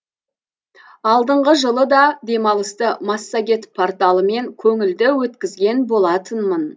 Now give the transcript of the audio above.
алдыңғы жылы да демалысты массагет порталымен көңілді өткізген болатынмын